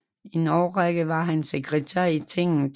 En årrække var han sekretær i tinget